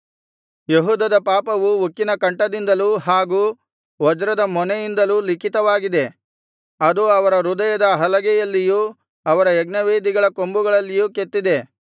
ಯೆಹೂದದ ಪಾಪವು ಉಕ್ಕಿನ ಕಂಠದಿಂದಲೂ ಹಾಗೂ ವಜ್ರದ ಮೊನೆಯಿಂದಲೂ ಲಿಖಿತವಾಗಿದೆ ಅದು ಅವರ ಹೃದಯದ ಹಲಗೆಯಲ್ಲಿಯೂ ಅವರ ಯಜ್ಞವೇದಿಗಳ ಕೊಂಬುಗಳಲ್ಲಿಯೂ ಕೆತ್ತಿದೆ